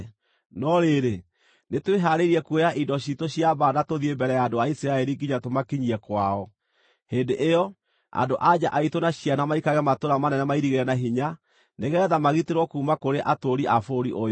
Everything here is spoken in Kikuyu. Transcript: No rĩrĩ, nĩtwĩhaarĩirie kuoya indo ciitũ cia mbaara na tũthiĩ mbere ya andũ a Isiraeli nginya tũmakinyie kwao. Hĩndĩ ĩyo, andũ-a-nja aitũ na ciana maikarage matũũra manene mairigĩre na hinya, nĩgeetha magitĩrwo kuuma kũrĩ atũũri a bũrũri ũyũ.